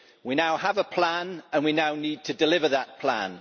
We now have a plan and we now need to deliver that plan.